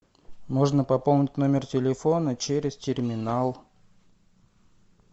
можно пополнить номер телефона через терминал